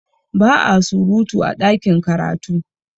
Ba a surutu a ɗakin karatu